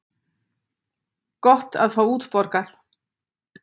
Gott að fá útborgað!